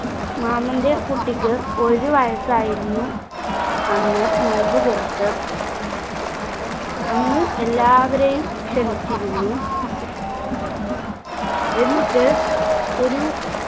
മാമന്റെ കുട്ടിക്ക് ഒരു വയസ്സായിരുന്നു അന്ന് നോമ്പുതുറക്ക് അന്ന് എല്ലാവരെയും ക്ഷണിച്ചിരുന്നു എന്നിട്ട് ഒരു